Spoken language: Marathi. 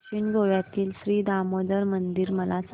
दक्षिण गोव्यातील श्री दामोदर मंदिर मला सांग